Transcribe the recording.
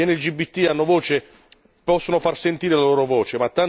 Gli LGBT hanno voce, possono far sentire la loro voce.